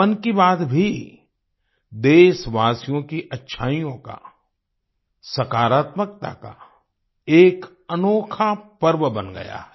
मन की बात भी देशवासियों की अच्छाइयों का सकारात्मकता का एक अनोखा पर्व बन गया है